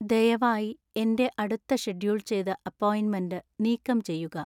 ദയവായി എന്‍റെ അടുത്ത ഷെഡ്യൂൾ ചെയ്ത അപ്പോയിന്റ്മെന്റ് നീക്കംചെയ്യുക